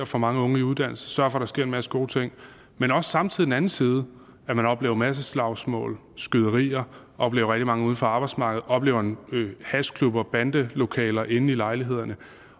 får mange unge i uddannelse sørger for at der sker en masse gode ting men også samtidig en anden side at man oplever masseslagsmål skyderier oplever mange uden for arbejdsmarkedet oplever hashklubber bandelokaler inde i lejlighederne